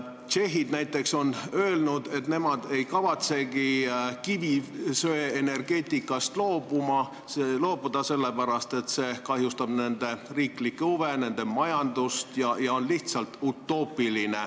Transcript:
Tšehhid on näiteks öelnud, et nemad ei kavatsegi kivisöeenergeetikast loobuda, sest see kahjustaks nende riiklikke huve ja nende majandust ning on lihtsalt utoopiline.